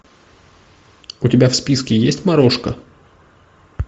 у тебя в списке есть морошка